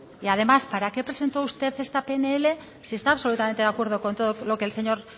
y además para qué presentó usted esta pnl si está absolutamente de acuerdo con todo lo que el señor